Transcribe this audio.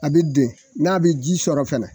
A bi den n'a bi ji sɔrɔ fɛnɛ